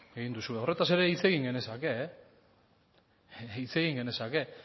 egin duzue horretaz ere hitz egin genezake hitz egin genezake